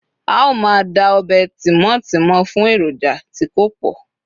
a o ma da ọbè Timoti mọ fún eroja ti ko pọ